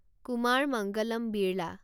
Kumar Mangalam Birla